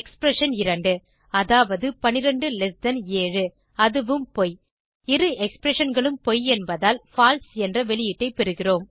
expression 2 அதாவது 127 அதுவும் பொய் இரு expressionகளும் பொய் என்பதால் பால்சே என்ற வெளியீட்டை பெறுகிறோம்